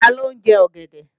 Taló ń jẹ ọ̀gẹ̀dẹ̀?